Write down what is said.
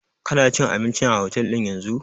Kana cin abinci a otel ɗin yanzun?